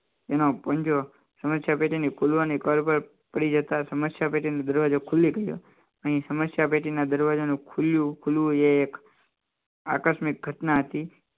બહાર નીકળે છે કે તેમ ચકાસ્યું પરંતુ બિલાડીને સમસ્યા પેટી ની બહાર નીકળવામાં સફળતા મળી શકે નહીં આજે ફરી ફરી એના એ જ પ્રયાસો ચાલુ રાખે તેમ અચાનક જ એના ખુલવાની જતા સમસ્યા પેઢીનું દરવાજો ખુલ્લી ગયો અહીં સમસ્યા પેટીના દરવાજાનું ખુલ્યું એ એક આકસ્મિક ઘટના હતી